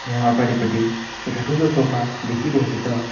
यहाँ अगाडिपट्टि एउटा ठूलो सोफा देखिरहेको छ।